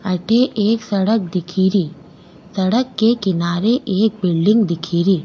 अठे एक सड़क दिखेरी सड़क के किनारे एक बिल्डिंग दिखेरी।